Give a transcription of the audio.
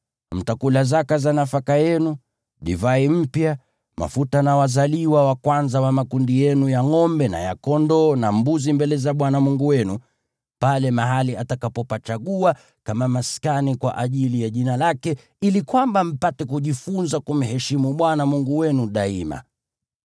Mtakula zaka za nafaka yenu, divai mpya, mafuta na wazaliwa wa kwanza wa makundi yenu ya ngʼombe na ya kondoo na mbuzi mbele za Bwana Mungu wenu pale mahali atakapopachagua kama maskani kwa ajili ya Jina lake, ili kwamba mpate kujifunza kumheshimu Bwana Mungu wenu daima.